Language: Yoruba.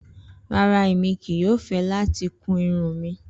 Rara, Emi kii yoo fẹ lati kun irun mi.